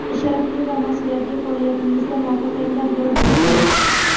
sharafli va mas’uliyatli faoliyatingizda muvaffaqiyatlar yor bo‘lsin.